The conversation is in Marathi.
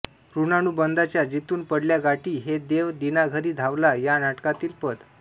ऋणानुबंधांच्या जिथून पडल्या गाठी हे देव दीनाघरी धावला या नाटकातील पद